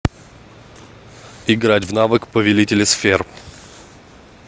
играть в навык повелители сфер